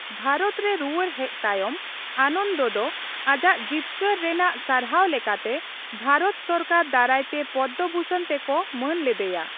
ᱵᱷᱟᱨᱚᱛ ᱨᱮ ᱨᱩᱣᱟᱹᱲ ᱦᱮᱡ ᱛᱟᱭᱚᱢ, ᱟᱱᱚᱱᱫ ᱫᱚ ᱟᱡᱟᱜ ᱡᱤᱛᱠᱟᱹᱨ ᱨᱮᱱᱟᱜ ᱥᱟᱨᱦᱟᱣ ᱞᱮᱠᱟᱛᱮ ᱵᱷᱟᱨᱚᱛ ᱥᱚᱨᱠᱟᱨ ᱫᱟᱨᱟᱭ ᱛᱮ ᱯᱚᱫᱽᱫᱚᱵᱷᱩᱥᱚᱱ ᱛᱮᱠᱚ ᱢᱟᱹᱱ ᱞᱮᱫᱮᱭᱟ ᱾